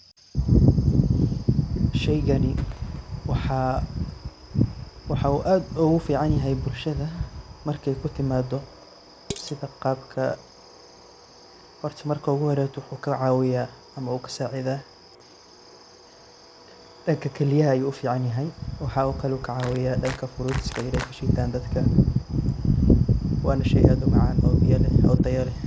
Sheeygani waxa oo aad UGA ficanyahay bulshada, marka kutimatoh sitha Qabka hor marka ugu hori waxu kacabiyah amah ugu sacethah danga kaliyah ayu u ficanyahay waxakali oo kacawiyah danga fruit wanah sheey aad u macan oo Taya leeh.